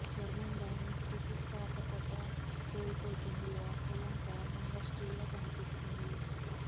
చర్మం దాని స్థితిస్థాపకత కోల్పోతుంది వాస్తవం కారణంగా స్ట్రియా కనిపిస్తుంది